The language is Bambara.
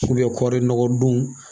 kɔɔrinɔgɔdonw